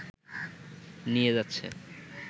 নিয়ে যাচ্ছে